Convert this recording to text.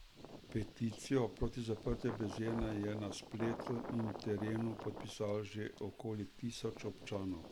Peticijo proti zaprtju bazena je na spletu in terenu podpisalo že okoli tisoč občanov.